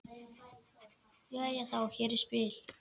Jæja þá, hér er spil.